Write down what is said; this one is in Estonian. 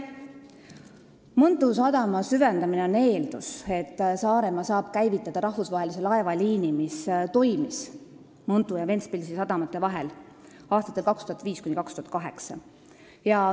Mõntu sadama süvendamine on eeldus, et Saaremaa saab käivitada rahvusvahelise laevaliini, mis toimis Mõntu ja Ventspilsi sadama vahel aastatel 2005–2008.